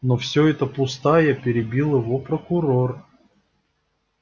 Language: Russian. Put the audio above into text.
но все это пустая перебил его прокурор